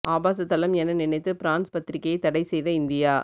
ஆபாச தளம் என நினைத்து பிரான்ஸ் பத்திரிகையை தடை செய்த இந்தியா